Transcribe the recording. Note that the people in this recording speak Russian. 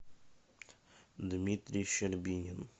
дмитрий щербинин